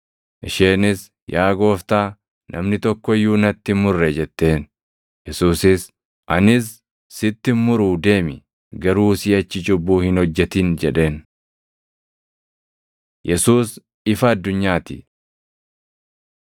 Isheenis, “Yaa Gooftaa, namni tokko iyyuu natti hin murre” jetteen. Yesuusis, “Anis sitti hin muruu deemi; garuu siʼachi cubbuu hin hojjetin” jedheen.] + 8:11 Waraabbileen durii hedduun kutaa (\+xt Yoh 7:53–8:11\+xt*) hin qaban yookaan iddoo biraa yookaan immoo wangeelota biraa keessa seensisan. Yesuus ifa addunyaa ti